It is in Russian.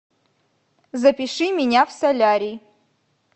запиши меня в солярий